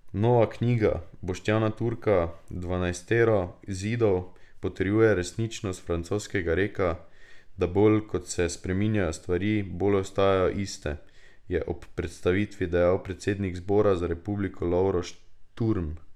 Nova knjiga Boštjana Turka Dvanajstero zidov potrjuje resničnost francoskega reka, da bolj ko se spreminjajo stvari, bolj ostajajo iste, je ob predstavitvi dejal predsednik Zbora za republiko Lovro Šturm.